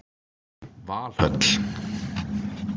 Valhöll